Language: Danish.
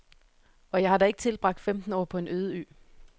Og jeg har da ikke tilbragt femten år på en øde ø.